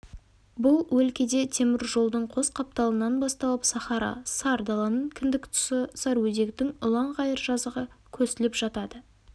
бұл өлкеде темір жолдың қос қапталынан басталып сахара сар даланың кіндік тұсы сарыөзектің ұлан-ғайыр жазығы көсіліп жатады